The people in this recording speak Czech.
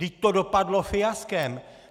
Vždyť to dopadlo fiaskem!